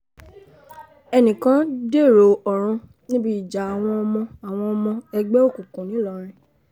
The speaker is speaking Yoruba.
ẹnì kan dèrò ọ̀run níbi ìjà àwọn ọmọ àwọn ọmọ ẹgbẹ́ òkùnkùn ńìlọrin